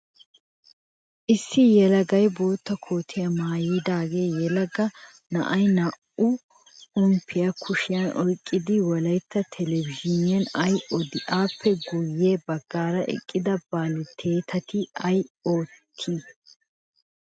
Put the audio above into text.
Issu yelaga bootta kootiyaa maayida yelaga na"ayi naa"u pomppaa kushiyan oyqqidi wolayttaa televezhiiniyan ayi odii? Appe guyye baggaara eqqida baltyeetayi ayi oottii?